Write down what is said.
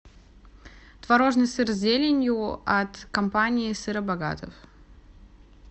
творожный сыр с зеленью от компании сыробогатов